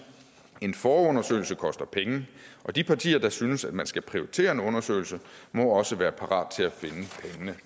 en forundersøgelse koster penge de partier der synes at man skal prioritere en undersøgelse må også være parate